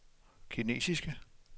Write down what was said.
kinesiske